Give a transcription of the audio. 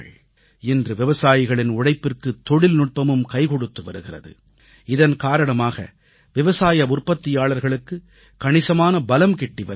இன்று விவசாயிகளின் உழைப்பிற்கு தொழில்நுட்பமும் கைகொடுத்து வருகிறது இதன் காரணமாக விவசாய உற்பத்தியாளர்களுக்கு கணிசமான பலம் கிட்டி வருகிறது